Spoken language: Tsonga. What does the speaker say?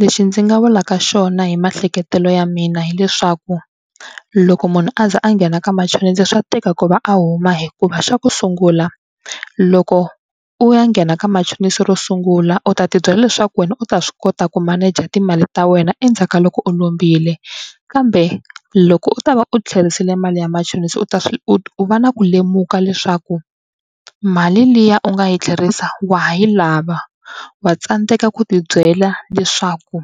Lexi ndzi nga vulaka xona hi maehleketelo ya mina hileswaku loko munhu a ze a nghena ka machonisi swa tika ku va a huma hikuva xa ku sungula loko u ya nghena ka machonisi ro sungula u ta tibyela leswaku wena u ta swi kota ku maneja timali ta wena endzhaku ka loko u lombile kambe loko u ta va u tlherisele mali ya machonisi u ta swi u va na ku lemuka leswaku mali liya u nga yi tlherisa wa ha yi lava. Wa tsandzeka ku tibyela leswaku